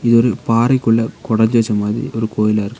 இதொரு பாறைக்குள்ள கொடஞ்சு வச்ச மாரி ஒரு கோயிலா இருக்கு.